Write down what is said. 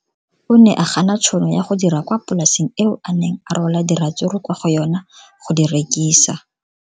O ne a gana tšhono ya go dira kwa polaseng eo a neng rwala diratsuru kwa go yona go di rekisa.